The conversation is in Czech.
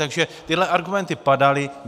Takže tyhle argumenty padaly.